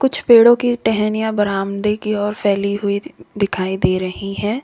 कुछ पेड़ों की टहनियां बरामदे की ओर फैली हुई दि-दिखाई दे रही हैं।